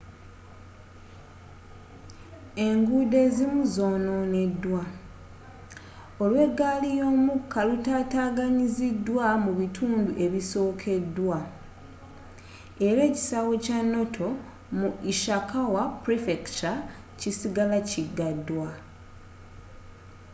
enguudo ezimu zononeddwa olw'egaali y'omukka lutataganyiziddwa mu bitundu ebikoseddwa era ekisaawe kya noto mu ishikawa prefecture kisigala kigaddwa